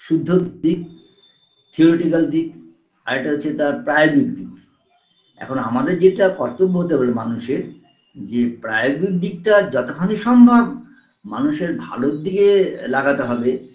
শুদ্ধ দিক theoretical দিক আরেকটা হচ্ছে তার priobic দিক এখন আমাদের যেটা কর্তব্য হতে পারে মানুষের যে priobic দিকটা যতখানি সম্ভব মানুষের ভালোর দিকে লাগাতে হবে